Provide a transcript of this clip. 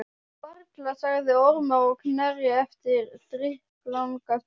Varla, sagði Ormur á Knerri eftir drykklanga stund.